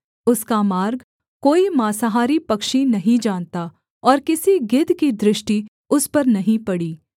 उसका मार्ग कोई माँसाहारी पक्षी नहीं जानता और किसी गिद्ध की दृष्टि उस पर नहीं पड़ी